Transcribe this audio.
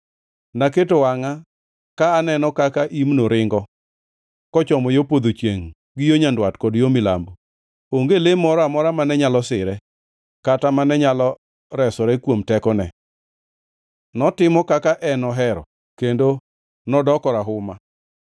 Naketo wangʼa ka aneno kaka imno ringo kochomo yo podho chiengʼ, gi yo nyandwat kod yo milambo. Onge le moro amora mane nyalo sire, kata mane nyalo resore kuom tekone. Notimo kaka en ema ohero, kendo nodoko rahuma.